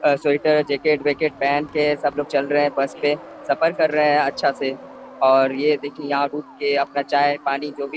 और sweater jacket वेकेट पहन के सब लोग चल रहे है बस पे सफर कर रहे है अच्छा से और ये देखिये यहाँ पर रुके के अपना चाय पानी जो भी--